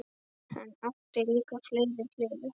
Hann átti líka fleiri hliðar.